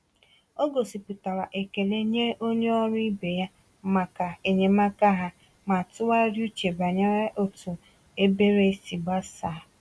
Ọ gosipụtara ekele nye onye ọrụ ibe ya maka enyemaka ha ma tụgharịa uche banyere otu ebere si gbasaa.